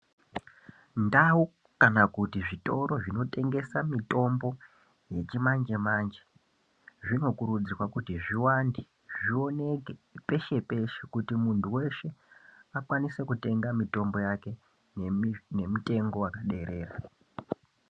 Ndau kana kuti zvitoro zvinotengesa mitombo yechimanje-manje zvinokurudzirwa kuti zviwande zvioneke peshe-peshe kuti muntu weshe akwanise kutenga mitombo yake nemitengo yakaderera.